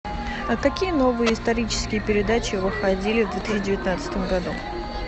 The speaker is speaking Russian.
а какие новые исторические передачи выходили в две тысячи девятнадцатом году